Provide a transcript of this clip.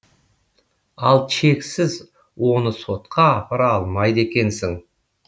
ал чексіз оны сотқа апара алмайды екенсің